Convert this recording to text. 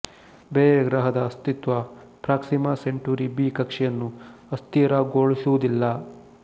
ಬೇರೆ ಗ್ರಹದ ಅಸ್ತಿತ್ವ ಪ್ರಾಕ್ಸಿಮ ಸೆಂಟುರಿ ಬಿ ಕಕ್ಷೆಯನ್ನು ಅಸ್ಥಿರಗೊಳಿಸುವುದಿಲ್ಲ